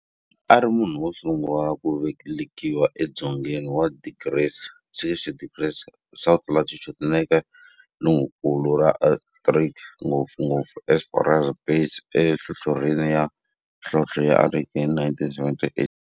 A ri munhu wo sungula ku velekiwa e dzongeni wa 60 degrees south latitude nale ka tikonkulu ra Antarctic, ngopfungopfu eEsperanza Base enhlohlorhini ya nhlonhle ya Antarctic hi 1978.